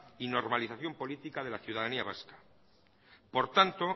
y normalización política de la ciudadanía vasca por tanto